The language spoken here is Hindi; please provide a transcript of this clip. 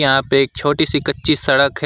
यहां पे एक छोटी सी कच्ची सड़क है।